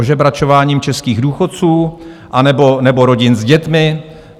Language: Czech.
Ožebračováním českých důchodců, anebo rodin s dětmi?